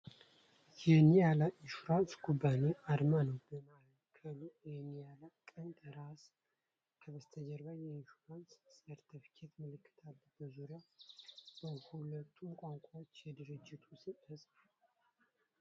የኒያላ ኢንሹራንስ ኩባንያ አርማ ነው። በማዕከሉ የኒያላ ቀንድና ራስ፣ ከበስተጀርባ የኢንሹራንስ ሰርተፍኬት ምልክት አለ። በዙሪያው በሁለቱም ቋንቋዎች የድርጅቱ ስም ተፅፏል።